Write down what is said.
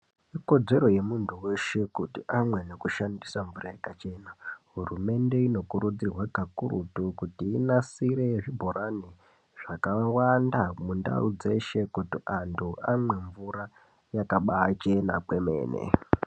Ikodzero yemuntu weshe kuti amwe nekushandisa mvura yakachena . Hurumende inokurudzirwa kakurutunkuti inasire zvibhorani zvakawanda mundau dzeshe kuti antu amwe mvura yakabaachena kwemene.